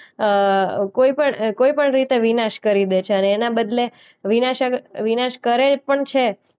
અ કોઈ પણ કોઈ પણ રીતે વિનાશ કરી બેસે અને એના બદલે વિનાશક વિનાશ કરે પણ છે.